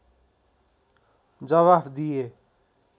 जावाफ दिए